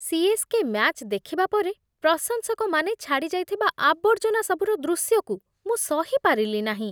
CSK. Match ଦେଖିବା ପରେ ପ୍ରଶଂସକମାନେ ଛାଡ଼ି ଯାଇଥିବା ଆବର୍ଜନା ସବୁର ଦୃଶ୍ୟକୁ ମୁଁ ସହି ପାରିଲି ନାହିଁ।